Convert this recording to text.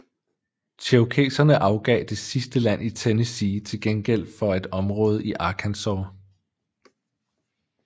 Cherokeserne afgav det sidste land i Tennessee til gengæld for at område i Arkansas